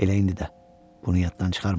Elə indi də, bunu yaddan çıxarma.